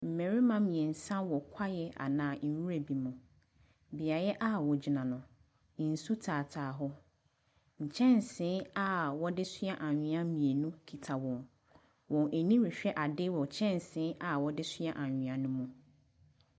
Mmarima mmeɛnsa wɔ kwae anaa nwura bi mu. Beaeɛ a wɔgyina no, nsu taataa hɔ. Nkyɛnse a wɔde soa anwea mmienu kita wɔn. Wɔrehwɛ ade wɔ kyɛnse a wɔde soa anwea no mu.